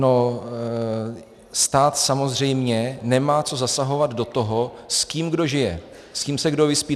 No, stát samozřejmě nemá co zasahovat do toho, s kým kdo žije, s kým se kdo vyspí.